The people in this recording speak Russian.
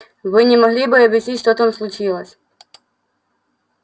вы не могли бы объяснить что там случилось